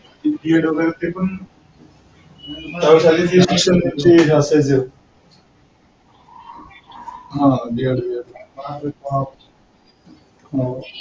ded वैगरे ते पण